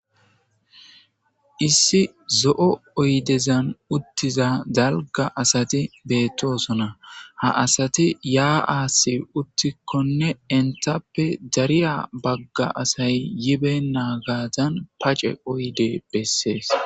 issi zo7o oydezan uttiza dalga asati beettoosona ha asati yaa7aasi uttikkonne entappe dariya bagga asay yibe naagazan pace oyde bessees